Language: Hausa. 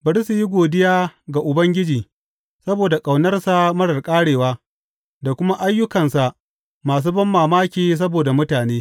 Bari su yi godiya ga Ubangiji saboda ƙaunarsa marar ƙarewa da kuma ayyukansa masu banmamaki saboda mutane.